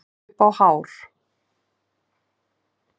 Upp á hár